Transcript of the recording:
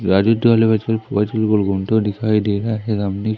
घूमते हुए दिखाई दे रहा है --